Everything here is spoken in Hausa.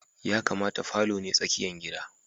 Ya kamata falo ne tsakiyan gidan.